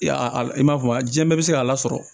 I y'a a i m'a fɔ a diɲɛ bɛɛ bɛ se k'a lasɔrɔ